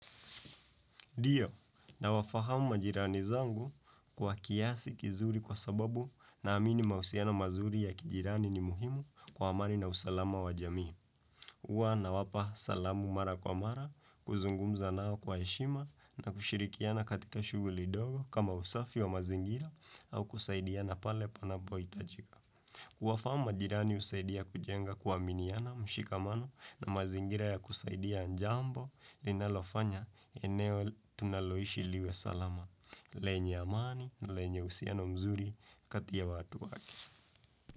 Ndiyo, nawafahamu majirani zangu kwa kiasi kizuri kwa sababu naamini mahusiano mazuri ya kijirani ni muhimu kwa amani na usalama wa jamii. Huwa nawapa salamu mara kwa mara, kuzungumza nao kwa heshima na kushirikiana katika shuguli ndogo kama usafi wa mazingira au kusaidiana pale panapoitajika. Kuwafahamu majirani husaidia kujenga kuaminiana mshikamano na mazingira ya kusaidia jambo linalofanya eneo tunaloishi liwe salama. Lenye amani na lenye uhusiano mzuri kati ya watu wake.